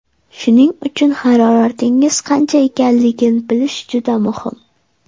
Shuning uchun, haroratingiz qancha ekanligini bilish juda muhim.